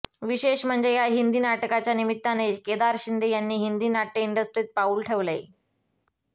विशेष म्हणजे या हिंदी नाटकाच्या निमित्ताने केदार शिंदे यांनी हिंदी नाट्य इंडस्ट्रीत पाऊल ठेवलंय